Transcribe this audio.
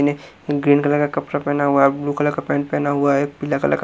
ने green colour का कपड़ा पहना हुआ है ब्लू कलर का पेंट पहना हुआ है पीला कलर का--